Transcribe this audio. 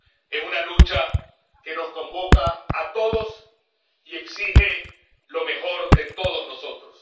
Es una lucha que nos convoca a todos y exige lo mejor de todos nosotros.